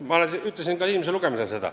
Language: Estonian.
Ma ütlesin seda ka esimesel lugemisel.